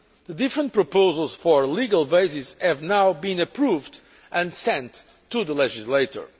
The different proposals for a legal basis have now been approved and sent to the legislator.